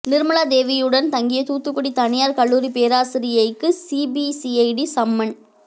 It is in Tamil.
நிர்மலா தேவியுடன் தங்கிய தூத்துக்குடி தனியார் கல்லூரி பேராசிரியைக்கு சிபிசிஐடி சம்மன்